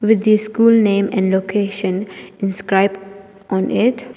With the school name and location described on it.